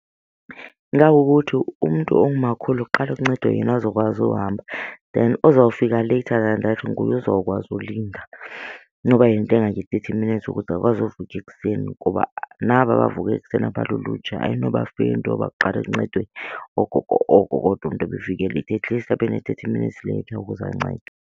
Ingakukuthi umntu ongumakhulu kuqale kuncedwe yena azokwazi uhamba then ozawufika later than that nguye ozawukwazi ulinda noba yinto engange-thirty minutes ukuze akwazi uvuka ekuseni. Ngoba naba bavuke ekuseni abalulutsha ayinoba fair into yoba kuqale kuncedwe oogogo oko kodwa umntu ebefike leyithi, at least abe ne-thirty minutes late ukuze ancedwe.